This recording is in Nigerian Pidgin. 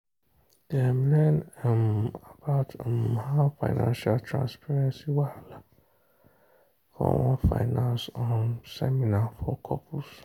dem learn um about um how financial transparency whahala for one finance um seminar for couples.